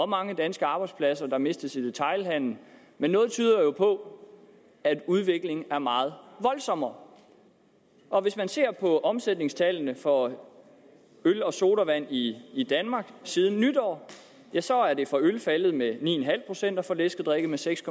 mange danske arbejdspladser der mistes i detailhandelen men noget tyder jo på at udviklingen er meget voldsommere og hvis man ser på omsætningstallene for øl og sodavand i i danmark siden nytår ja så er det for øl faldet med ni en halv procent og for læskedrikke med seks